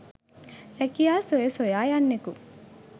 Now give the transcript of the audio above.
රැකියා සොය සොයා යන්නකු